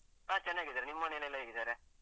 ಹ ಚೆನ್ನಾಗಿದ್ದಾರೆ. ನಿಮ್ ಮನೇಲೆಲ್ಲ ಹೇಗಿದ್ದಾರೆ?